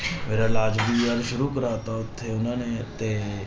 ਮੇਰਾ ਇਲਾਜ ਵੀ ਯਾਰ ਸ਼ੁਰੂ ਕਰਵਾ ਦਿੱਤਾ ਉੱਥੇ ਉਹਨਾਂ ਨੇ ਤੇ